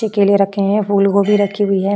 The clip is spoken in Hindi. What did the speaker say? केले रखे हुए हैं फूलगोभी रखी हुई है।